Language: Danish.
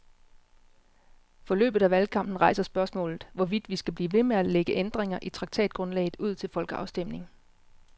Forløbet af valgkampen rejser spørgsmålet, hvorvidt vi skal blive ved med at lægge ændringer i traktatgrundlaget ud til folkeafstemning.